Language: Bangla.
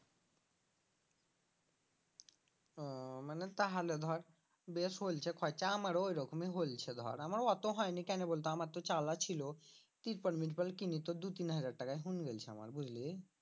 ও মানে তাহলে ধর বেশ হোনছে খরচা আমারও ওই রকমই হোনছে ধর আমারও অত হয়নি কেনে বলতো আমার তো চালা ছিল তিরপাল মীরপাল কিনি তো দু তিন হাজার টাকায় হুন গেল্ছে আমার বুঝলি?